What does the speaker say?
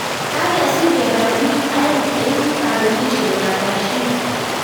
Kagesir kebar bik aeng eng kapelishiet ap Bashir